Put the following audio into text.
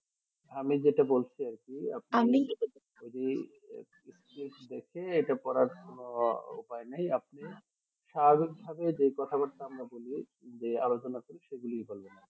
আমি যেটা বলছি আরকি আপনি ওই যে দেখে এটা পড়ার কোনো উপাই নেই আপনি স্বাভাবিক ভাবে যে কথা বাত্রা আমরা বলি যে আলোচনা করি সেগুলিই বলবেন আরকি